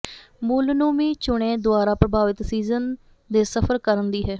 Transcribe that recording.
ਮੁੱਲ ਨੂੰ ਵੀ ਚੁਣੇ ਦੁਆਰਾ ਪ੍ਰਭਾਵਿਤ ਸੀਜ਼ਨ ਦੇ ਸਫ਼ਰ ਕਰਨ ਦੀ ਹੈ